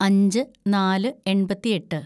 അഞ്ച് നാല് എണ്‍പത്തിയെട്ട്‌